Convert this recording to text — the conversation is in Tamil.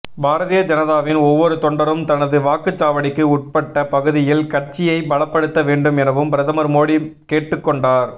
பாரதிய ஜனதாவின் ஒவ்வொரு தொண்டரும் தனது வாக்குச்சாவடிக்கு உட்பட்ட பகுதியில் கட்சியை பலப்படுத்த வேண்டும் எனவும் பிரதமர் மோடி கேட்டுக்கொண்டார்